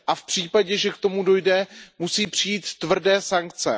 A v případě, že k tomu dojde, musí přijít tvrdé sankce.